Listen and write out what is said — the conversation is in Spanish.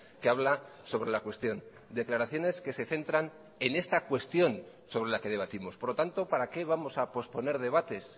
que habla sobre la cuestión declaraciones que se centran en esta cuestión sobre la que debatimos por lo tanto para qué vamos a posponer debates